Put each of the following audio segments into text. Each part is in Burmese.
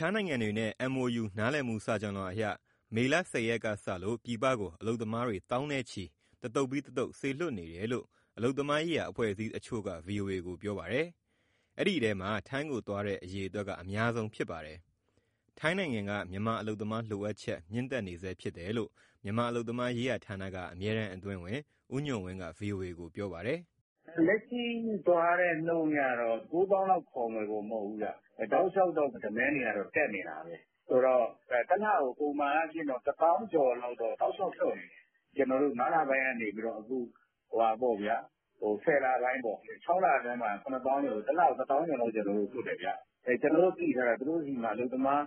ခြားနိုင်ငံတွေနဲ့ MOU နားလည်မှုစာချွန်လွှာအရ မေလ ၁၀ ရက်ကစလို့ ပြည်ပကို အလုပ်သမားတွေ သောင်းနဲ့ချီ တသုတ်ပြီး တသုတ် စေလွှတ်နေတယ်လို့ အလုပ်သမားရေးရာ အဖွဲ့အစည်းတချို့က ဗွီအိုအေကို ပြောပါတယ်။ ဒီအထဲမှာ ထိုင်းကိုသွားတဲ့ အရေအတွက်က အများဆုံးဖြစ်ပါတယ်။ ထိုင်းနိုင်ငံက မြန်မာအလုပ်သမားလိုအပ်ချက် မြင့်တက်နေဆဲဖြစ်တယ်လို့ မြန်မာအလုပ်သမားရေးဌာနက အမြဲတမ်း အတွင်းဝန် ဦးညွှန့်ဝင်းက ဗွီအိုအေကို ပြောပါတယ်။ "လက်ရှိသွားတဲ့ နှုန်းအရတော့ ၉ သောင်းလောက် ခေါ်မယ်လို့မဟုတ်ဘူး တောက်လျှောက်တော့ Demand တွေက တက်နေတာ။ ဆိုတော့ တလကို ပုံမှန်အားဖြင့် တသောင်းကျော်လောက် တောက်လျှောက် လွှတ်နေတယ်။ ငါးလပိုင်းကနေ အခု ဆယ်လပိုင်းပေါ့ ခြောက်လအတွင်းမှာ ၇၀,၀၀၀ ကျော်ဆိုတော့ တလကို တသောင်းကျော်လောက် လွှတ်တယ်။ ကျနော်တို့သိထားတာ သူတို့ဆီမှာ အလုပ်သမား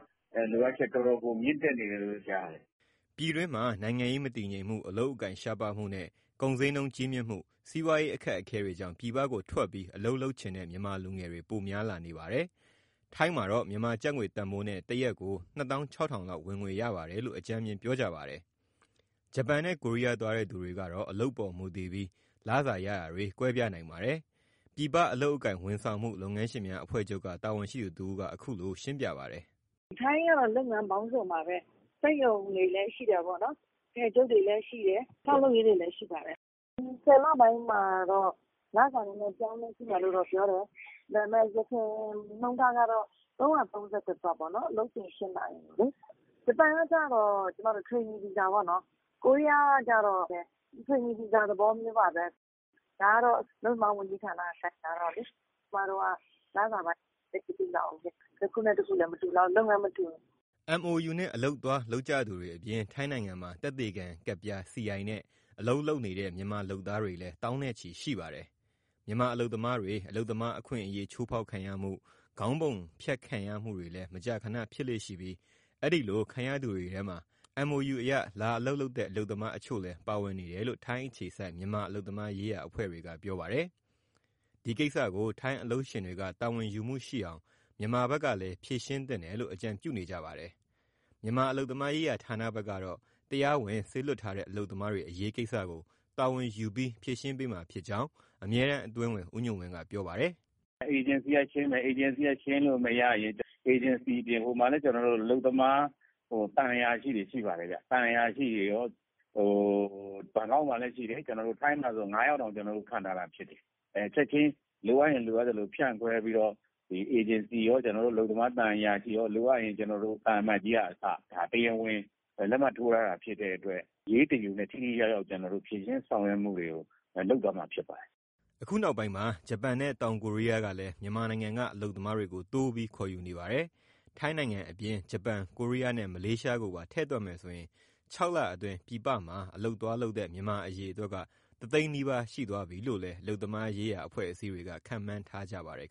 အလုပ်သမားလိုအပ်ချက် တော်တော် မြင့်တက်နေတယ်လို့ ကြားတယ်။" ပြည်တွင်း နိုင်ငံရေးမတည်ငြိမ်မှု၊ အလုပ်အကိုင်ရှားပါးမှုနဲ့ ကုန်ဈေးနှုန်းကြီးမြင့်မှု စီးပွားရေး အခက်အခဲတွေကြောင့် ပြည်ပကိုထွက်ပြီးအလုပ်လုပ်ချင်တဲ့ မြန်မာလူငယ်တွေ ပိုများလာပါတယ်။ ထိုင်းမှာတော့ မြန်မာကျပ်ငွေတန်ဖိုးနဲ့ တရက်ကို ၂၆,၀၀၀ လောက် ဝင်ငွေရပါတယ်လို့ အကြမ်းမျဉ်း ပြောကြပါတယ်။ ဂျပန်နဲ့ ကိုရီးယားသွားတဲ့ သူတွေကတော့ အလုပ်ပေါ်မူတည်ပြီး လစာရတာတွေ ကွဲပြားနိုင်ပါတယ်။ ပြည်ပအလုပ်အကိုင် ဝန်ဆောင်မှု လုပ်ငန်းရှင်များအဖွဲ့ချုပ်က တာဝန်ရှိသူတဦး က အခုလို ရှင်းပြပါတယ်။ " ထိုင်းကတော့ လုပ်ငန်းပေါင်းစုံပါပဲ စက်ရုံတွေလည်း ရှိတာပေါ့နော်၊ အထည်ချုပ်တွေလည်း ရှိတယ်၊ ဆောက်လုပ်ရေးတွေလည်း ရှိပါတယ်။ ဒီ ၁၀လပိုင်းမှာတော့ လစာနည်းနည်း အပြောင်းအလဲရှိမယ်လို့ ပြောတယ် ယခင်နှုန်းတားကတော့ ၃၃၁ ဘတ်ပေါ့နော် အလုပ်ချိန်၈နာရီလေ။ ဂျပန်ကတော့ Training visa ပေါ့နော် ကိုရီးယားလည်း training visa သဘောမျိုးပါပဲ။ ဒါကတော့ အလုပ်သမား ဝန်ကြီးဌာနက ကိုင်ထားတော့လေ ကျမတို့က လစာပိုင်း သိပ်မသိလှဘူး။ တခုနဲ့တခုမတူဘူး လုပ်ငန်းမတူဘူး။" MoU နဲ့အလုပ်သွားလုပ်ကြသူတွေအပြင် ထိုင်းနိုင်ငံမှာ သက်သေခံကတ်ပြား နဲ့ အလုပ်လုပ်နေတဲ့ မြန်မာလုပ်သားလည်း သောင်းနဲ့ချီရှိပါတယ်။ မြန်မာအလုပ်သမားတွေ အလုပ်သမားအခွင့်အရေးချိုးဖောက်ခံရမှု၊ ခေါင်းပုံဖြတ်ခံရမှုတွေလည်း မကြာခဏ ဖြစ်လေ့ရှိပြီး အဲဒီလိုခံရသူတွေထဲမှာ MoU အရလာအလုပ်လုပ်တဲ့ အလုပ်သမားတချို့လည်း ပါဝင်နေတယ်လို့ ထိုင်းအခြေစိုက် မြန်မာ အလုပ်သမားရေး အဖွဲ့တွေက ပြောပါတယ်။ ဒီကိစ္စကို ထိုင်းအလုပ်ရှင်တွေက တာဝန်ယူမှုရှိအောင် မြန်မာဘက်ကလည်း ဖြေရှင်းသင့်တယ်လို့ အကြံပြုနေကြပါတယ်။ မြန်မာအလုပ်သမားရေး ဌာနဘက်ကတော့ တရားဝင် စေလွှတ်ထားတဲ့ အလုပ်သမားတွေ အရေးကိစ္စကို တာဝန်ယူပြီး ဖြေရှင်းပေးမှာဖြစ်ကြောင်း အမြဲတမ်းအတွင်းဝန် ဦးညွှန့်ဝင်းက ပြောပါတယ်။ " အေဂျင်စီကရှင်းမယ်၊ အေဂျင်စီက ရှင်းလို့မရရင် ဟိုမှာလည်း အလုပ်သမား သံအရာရှိတွေ ရှိပါတယ်။ ဘန်ကောက်မှာလည်းရှိတယ်၊ ထိုင်းမှာဆို ငါးယောက်တောင် ခန့်ထားတာဖြစ်တယ်။ ချက်ချင်း လိုအပ်ရင် လိုအပ်သလို ဖြန့်လွှဲပြီးတော့ အေဂျင်စီရော အလုပ်သမား သံအရာရှိရော၊ လိုအပ်ရင် သံအမတ်ကြီးကအစ၊ တရားဝင် လက်မှတ်ထိုးထားတာ ဖြစ်တဲ့အတွက် အရေးတယူနဲ့ ထိထိရောက်ရောက် ဖြေရှင်း ဆောင်ရွက်မှုတွေကို လုပ်သွားမှာ ဖြစ်ပါတယ်။" အခုနောက်ပိုင်းမှာ ဂျပန်နဲ့ တောင်ကိုရီးယားကလည်း မြန်မာနိုင်ငံက အလုပ်သမားတွေကို တိုးပြီးခေါ်ယူနေပါတယ်။ ထိုင်းနိုင်ငံအပြင် ဂျပန်၊ ကိုရီးယားနဲ့ မလေးရှားကိုပါ ထည့်တွက်မယ်ဆိုရင် ခြောက်လအတွင်း ပြည်ပမှာ အလုပ်သွားလုပ်တဲ့ မြန်မာအရေအတွက်က တသိန်းနီးပါး ရှိသွားပြီလို့လည်း အလုပ်သမားရေး အဖွဲ့အစည်းတွေက ခန့်မှန်းထားကြပါတယ်